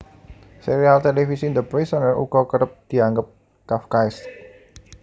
Sérial télévisi The Prisoner uga kerep dianggep kafkaesk